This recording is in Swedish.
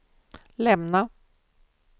lämna